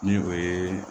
Ni o ye